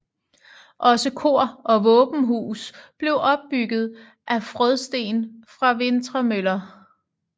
Også kor og våbenhus blev opbygget af frådsten fra Vintremøller